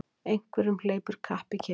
Einhverjum hleypur kapp í kinn